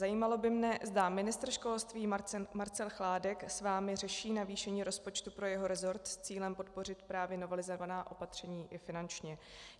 Zajímalo by mě, zda ministr školství Marcel Chládek s vámi řeší navýšení rozpočtu pro jeho resort s cílem podpořit právě novelizovaná opatření i finančně.